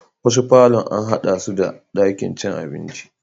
Wasu parlourn an haɗa su da ɗakin cin abinci